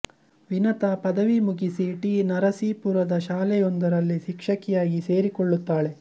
ವಿನತಾ ಪದವಿ ಮುಗಿಸಿ ಟಿ ನರಸೀಪುರದ ಶಾಲೆಯೊಂದರಲ್ಲಿ ಶಿಕ್ಷಕಿಯಾಗಿ ಸೇರಿಕೊಳ್ಳುತ್ತಾಳೆ